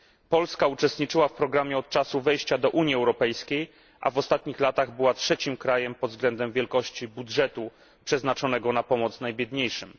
Polska uczestniczyła w programie od czasu wejścia do Unii Europejskiej, a w ostatnich latach była trzecim krajem pod względem wielkości budżetu przeznaczonego na pomoc najbiedniejszym.